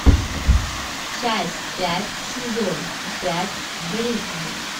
часть пять сезон пять гриффины